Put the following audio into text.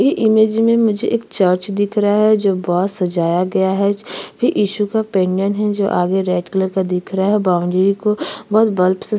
इ इमेज में मुझे एक चर्च दिख रहा है जो बोहोत सजाया गया है च फिर इशू का पेंडंट है जो आगे रेड कलर का दिख रहा है बॉउंड्री को बहुत बल्ब से --